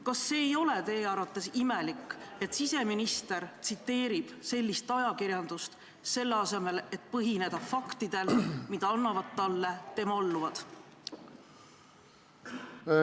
Kas see ei ole teie arvates imelik, et siseminister tsiteerib ajakirjandust, selle asemel et tugineda faktidele, mida annavad talle tema alluvad?